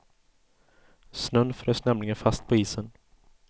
Snön frös nämligen fast på isen.